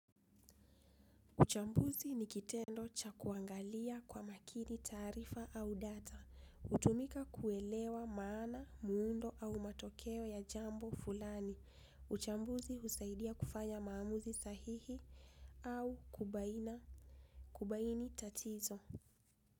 Uchambuzi nikitendo cha kuangalia kwa makini taarifa au data, utumika kuelewa maana, muundo au matokeo ya jambo fulani, uchambuzi husaidia kufanya maamuzi sahihi au kubaina, kubaini tatizo.